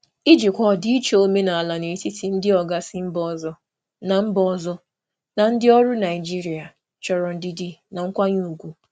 Ijikwa ọdịiche omenala n'etiti ndị oga si mba ọzọ na ndị ọrụ Naịjirịa chọrọ ndidi na nkwanye ùgwù.